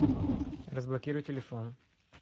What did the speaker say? разблокируй телефон